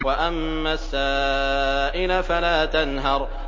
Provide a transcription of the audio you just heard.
وَأَمَّا السَّائِلَ فَلَا تَنْهَرْ